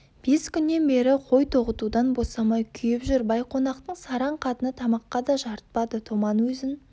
бес күннен бері қой тоғытудан босамай күйіп жүр байқонақтың сараң қатыны тамаққа да жарытпады томан өзін